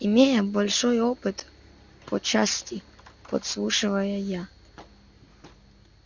имея большой опыт по части подслушивания я